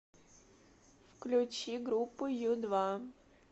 включи группу ю два